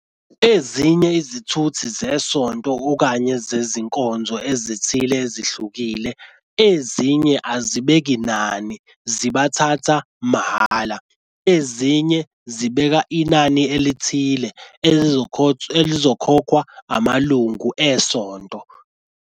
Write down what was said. Ezinye izithuthi zesonto okanye zezinkonzo ezithile ezihlukile. Ezinye azibeki nani zibathatha mahhala. Ezinye zibeka inani elithile elizokhokhwa amalungu esonto.